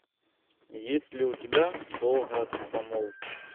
есть ли у тебя долгая помолвка